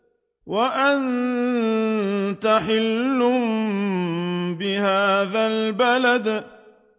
وَأَنتَ حِلٌّ بِهَٰذَا الْبَلَدِ